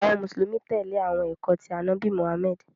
Awọn Musulumi tẹle awọn ẹkọ ti Anabi Muhammad.